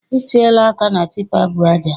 I tiela aka na tipa bu aja.